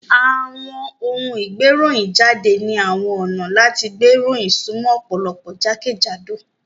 Àwọn òun ìgbéròyìnjáde ni àwọn ọ̀nà láti gbé ìròyìn sumo ọ̀pọ̀lọpọ̀ jákèjádò